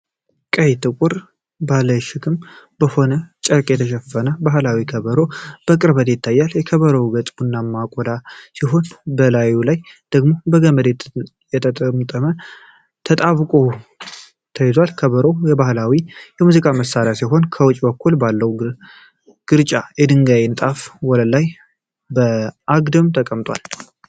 ቀይና ጥቁር ባለሽክም በሆነ ጨርቅ የተሸፈነ ባህላዊ ከበሮ በቅርበት ይታያል። የከበሮው ገጽ ቡናማ ቆዳ ሲሆን፤ በላዩ ላይ ደግሞ በገመድ ተጠምጥሞና ተጣብቆ ተይዟል። ከበሮው የባህላዊ ሙዚቃ መሳሪያ ሲሆን፤ ከውጭ በኩል ባለው ግራጫ የድንጋይ ንጣፍ ወለል ላይ በአግድም ተቀምጧል።